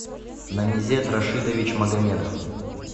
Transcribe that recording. намизед рашидович магомедов